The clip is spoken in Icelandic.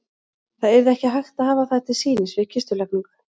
Það yrði ekki hægt að hafa þær til sýnis við kistulagningu.